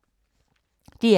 DR K